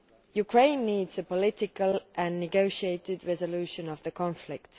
Ukraine needs a political and negotiated resolution of the conflict.